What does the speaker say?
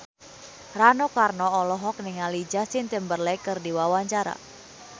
Rano Karno olohok ningali Justin Timberlake keur diwawancara